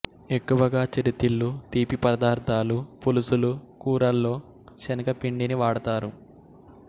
ఎక్కువగా చిరుతిళ్ళు తీపి పదార్ధాలూ పులుసులు కూరల్లో శనగపిండిని వాడతారు